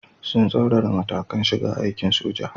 Sun tsaurara matakan shiga aikin soja.